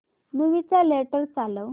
movie चा trailer चालव